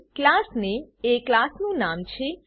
class નામે class name એ ક્લાસનું નામ છે